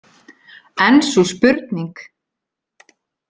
En sú spurning!